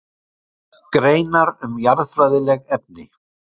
Greinar um jarðfræðileg efni.